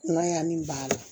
N'a y'a min b'a la